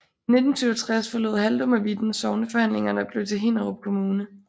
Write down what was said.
I 1967 forlod Haldum og Vitten sogne forhandlingerne og blev til Hinnerup Kommune